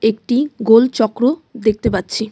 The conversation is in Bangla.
একটি গোল চক্র দেখতে পাচ্ছি.